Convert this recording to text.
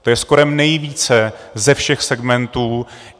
To je skoro nejvíce ze všech segmentů.